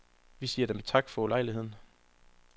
Vi siger Dem tak for ulejligheden.